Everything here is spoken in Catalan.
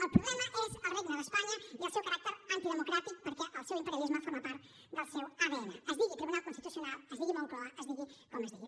el problema és el regne d’espanya i el seu caràcter antidemocràtic perquè el seu imperialisme forma part del seu adn es digui tribunal constitucional es digui moncloa es digui com es digui